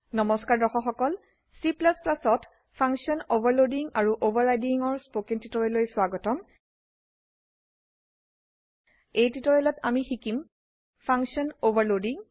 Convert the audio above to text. নমস্কাৰ দৰ্শক সকল Cত ফাংচন অভাৰলোডিং আৰু Overridingৰ স্পকেন টিউটোৰিয়েললৈ স্বাগতম এই টিউটোৰিয়েলত আমি শিকিম ফাংচন অভাৰলোডিং